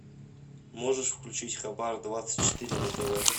можешь включить хабар двадцать четыре на тв